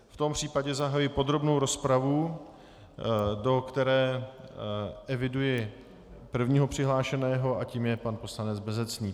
V tom případě zahajuji podrobnou rozpravu, do které eviduji prvního přihlášeného a tím je pan poslanec Bezecný.